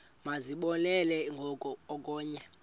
masizibonelele ngoku okanye